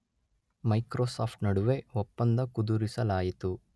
Microsoft ನಡುವೆ ಒಪ್ಪಂದ ಕುದುರಿಸಲಾಯಿತು.